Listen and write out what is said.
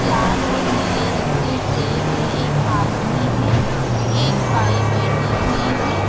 लाल और नील रंग के ट्रे है एक आदमी है एक बाई बेठी हुई है।